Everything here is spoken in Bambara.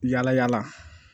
Yala yala